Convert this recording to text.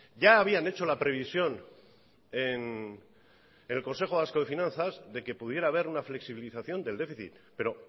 ya habían hecho la previsión en el consejo vasco de finanzas de que pudiera haber una flexibilización del déficit pero